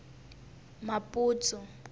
maputsu